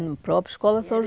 No próprio Escola São